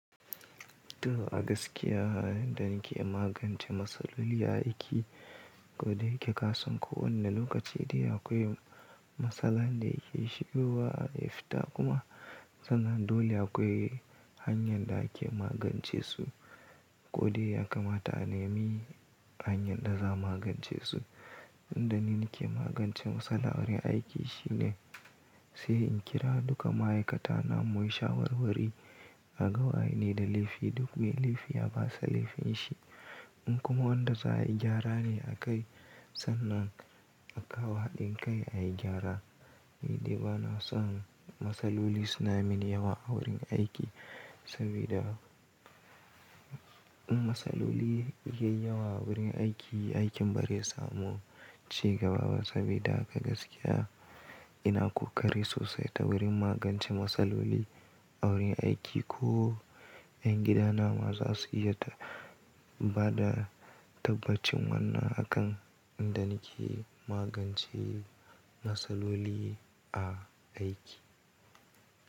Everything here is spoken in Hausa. To a gaskiya, idan ke magance matsaloli a aiki, ko da yake ka san ko wanni lokaci dai akwai matsala da ke shigowa, ya fita kuma sannan dole akwai hanyar da ake magance su, ko dai ya kamata a nemi hanyar da za a magance su. Inda nake magance matsala a wurin aiki shine sai in kira duka ma'aikata namu, mu yi shawarwari, a ga wa yane da laifi, duk mai laifi ya basa laifin shi. In kuma wanda za a yi gyarane a kai, sannan a kawo haɗin kai a yi gyara. Ni dai bana son matsaloli suna min yawa a wurin aiki, saboda in matsaloli yayi yawa a wurin aiki, aikin bari ya samu cigabawa saboda a gaskiya ina ƙoƙari sosai ta wurin magance matsaloli a wurin aiki. Ko ƴan gida na za su iya bada tabbacin wannan a kan inda nake magance matsaloli a aiki.